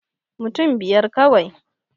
Mutun biyar kawai